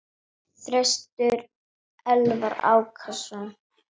Þröstur Elvar Ákason.